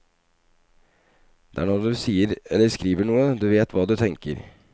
Det er når du sier eller skriver noe du vet hva du tenker.